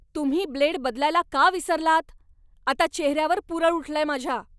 तुम्ही ब्लेड बदलायला का विसरलात? आता चेहऱ्यावर पुरळ उठलंय माझ्या!